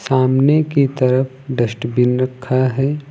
सामने की तरफ डस्टबिन रखा है।